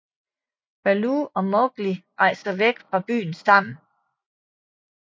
Baloo og Mowgli rejser væk fra byen sammen